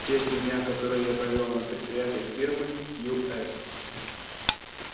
те три дня которые я провёл на предприятиях фирмы ю с